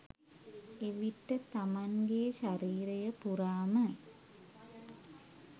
එවිට තමන්ගේ ශරීරය පුරාම